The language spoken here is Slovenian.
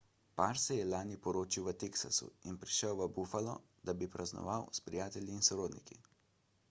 par se je lani poročil v teksasu in prišel v buffalo da bi praznoval s prijatelji in sorodniki